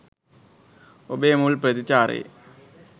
ඔබේ මුල් ප්‍රතිචාරයේ